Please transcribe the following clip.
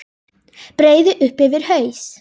Breiði upp yfir haus.